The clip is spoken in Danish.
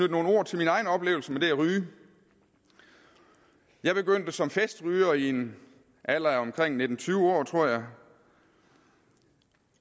nogle ord til min egen oplevelse med det at ryge jeg begyndte som festryger i en alder af omkring nitten til tyve år tror jeg